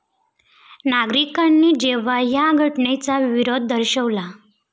नागरिकांनी जेव्हा या घटनेचा विरोध दर्शवला.